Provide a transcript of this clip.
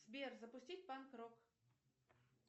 сбер запустить панк рок